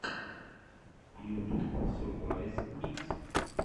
ютуб сурпрайз микс